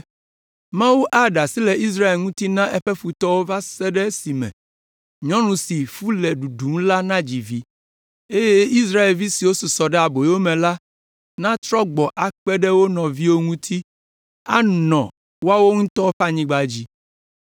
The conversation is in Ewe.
Mawu aɖe asi le Israel ŋuti na eƒe futɔwo va se ɖe esime nyɔnu si fu le ɖuɖum la nadzi vi; eye Israelvi siwo susɔ ɖe aboyo me la natrɔ gbɔ akpe ɖe wo nɔviwo ŋuti anɔ woawo ŋutɔ ƒe anyigba dzi.